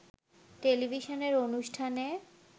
টেলিভিশনের অনুষ্ঠানে